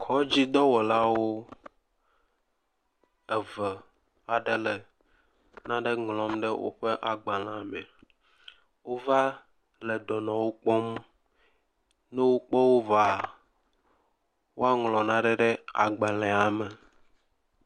Kɔdzidɔwɔlawo eve aɖewo le nane ŋlɔm le woƒe agbalẽa me. Wova le dɔnɔwo kpɔm, ne wokpɔ wo vɔa woaŋlɔ nane ɖe agbalẽa me.